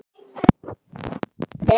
Hann hét